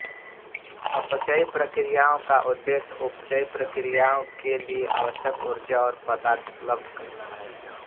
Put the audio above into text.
अपचयी प्रतिक्रियाओँ का उद्देश्य उपचयी प्रतिक्रियाओं के लिये आवश्यक ऊर्जा और पदार्थ उपलब्ध करना है